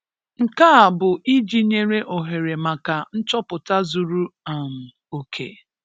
Nke a bụ iji nye ohere maka nchọpụta zuru um oke.